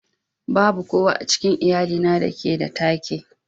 Babu kowa a cikin iyalina da ke da take.